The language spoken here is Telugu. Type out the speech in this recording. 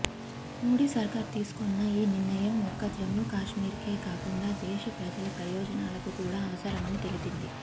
మోడీ సర్కార్ తీసుకున్న ఈ నిర్ణయం ఒక్క జమ్మూకశ్మీర్కే కాకుండా దేశప్రజల ప్రయోజనాలకు కూడా అవసరమని తెలిపింది